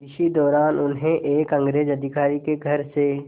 इसी दौरान उन्हें एक अंग्रेज़ अधिकारी के घर से